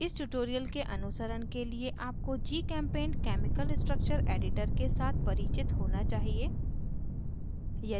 इस ट्यूटोरियल के अनुसरण के लिए आपको gchempaint केमिकल स्ट्रक्चर एडिटर के साथ परिचित होना चाहिए